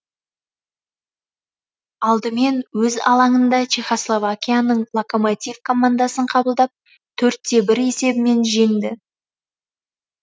алдымен өз алаңында чехословакияның локомотив командасын қабылдап төрт те бір есебімен жеңді